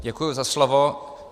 Děkuji za slovo.